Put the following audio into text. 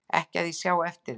Ekki að ég sjái eftir því